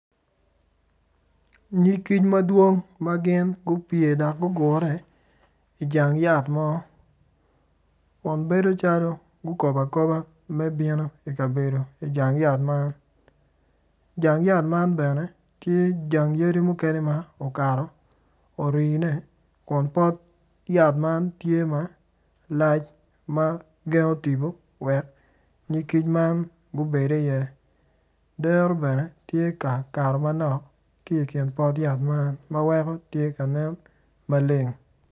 Nyig kic madwong ma gin gupye dok gugure ijang yat mo kun bedo xalo gukobo akoba me bino kabedo ijang yat man jang yat man bene tye jang yadi mukene ma okato orine kun pot yat man tye malac ma gendo tipo wek nyig kic man gubed i iye dero bene tye ka kato manok ki kin pot yat man ma weko tye kanen maleng